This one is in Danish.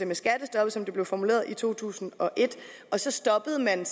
med skattestoppet som det blev formuleret i to tusind og et så stoppede man